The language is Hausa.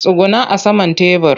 Tsugunna a saman tebur!